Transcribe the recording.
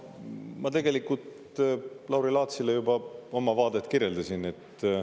Ma tegelikult Lauri Laatsile juba oma vaadet kirjeldasin.